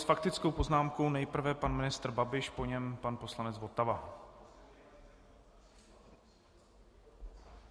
S faktickou poznámkou nejprve pan ministr Babiš, po něm pan poslanec Votava.